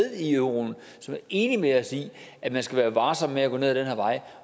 i euroen som er enige med os i at man skal være varsom med at gå ned ad den her vej